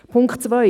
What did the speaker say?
Punkt 2: